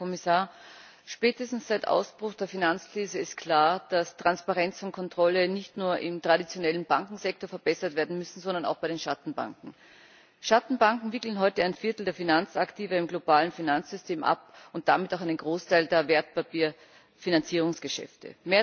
Herr Präsident, Herr Kommissar! Spätestens seit Ausbruch der Finanzkrise ist klar, dass Transparenz und Kontrolle nicht nur im traditionellen Bankensektor verbessert werden müssen, sondern auch bei den Schattenbanken. Schattenbanken wickeln heute ein Viertel der Finanzaktiva im globalen Finanzsystem ab und damit auch einen Großteil der Wertpapierfinanzierungsgeschäfte.